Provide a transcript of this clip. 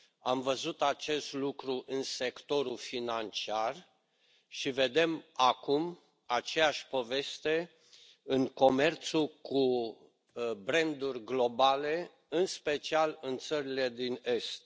Am văzut acest lucru în sectorul financiar și vedem acum aceeași poveste în comerțul cu branduri globale, în special în țările din Est.